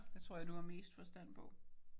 Det tror jeg du har mest forstand på